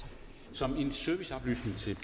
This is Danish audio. som en serviceoplysning til